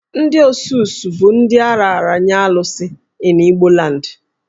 Ndị Osus bụ ndị a raara nye Alusi(Chi) in Igboland